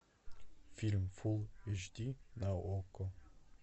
фильм фулл эйч ди на окко